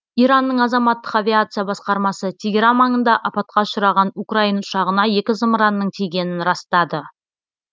иранның азаматтық авиация басқармасы тегеран маңында апатқа ұшыраған украин ұшағына екі зымыранның тигенін растады